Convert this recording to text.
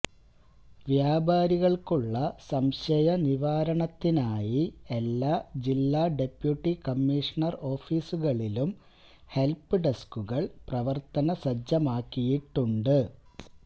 വ്യാപാരികള്ക്കുള്ള സംശയ നിവാരണത്തിനായി എല്ലാ ജില്ലാ ഡെപ്യൂട്ടി കമ്മീഷണര് ഓഫീസുകളിലും ഹെല്പ്പ് ഡെസ്കുകള് പ്രവര്ത്തനസജ്ജമാക്കിയിട്ടുണ്ട്